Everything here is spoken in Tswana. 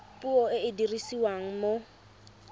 puo e e dirisiwang mo